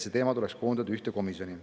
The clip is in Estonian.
See teema tuleks koondada ühte komisjoni.